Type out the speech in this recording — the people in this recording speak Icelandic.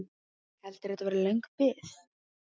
Heldurðu að þetta verði löng bið?